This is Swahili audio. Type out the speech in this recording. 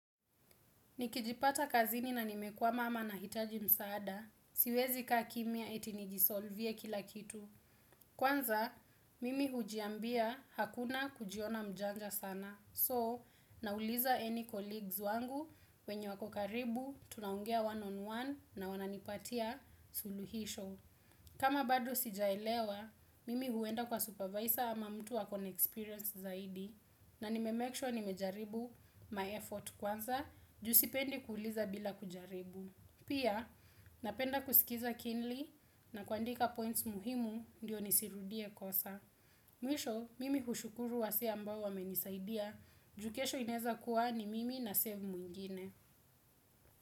Nikijipata kazini na nimekwama ama nahitaji msaada. Siwezi kaa kimia eti nijisolvie kila kitu. Kwanza, mimi hujiambia hakuna kujiona mjanja sana. So, nauliza any colleagues wangu, wenye wako karibu, tunaungea one on one na wananipatia suluhisho. Kama bado sijaelewa, mimi huenda kwa supervisor ama mtu wa kona experience zaidi na nimemekishwa nimejaribu my effort kwanza, ju sipendi kuliza bila kujaribu. Pia, napenda kusikiza kinli na kwandika points muhimu ndio nisirudie kosa. Mwisho, mimi hushukuru wase ambao wamenisaidia, ju kesho ineza kuwa ni mimi na save mwingine.